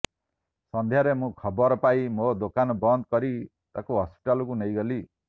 ସନ୍ଧ୍ୟାରେ ମୁଁ ଖବର ପାଇ ମୋ ଦୋକାନ ବନ୍ଦ କରି ତାକୁ ହସ୍ପିଟାଲକୁ ନେଇଗଲି